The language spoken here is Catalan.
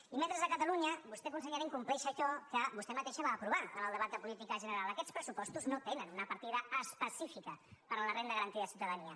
i mentre a catalunya vostè consellera incompleix allò que vostè mateixa va aprovar en el debat de política general aquests pressupostos no tenen una partida específica per a la renda garantida de ciutadania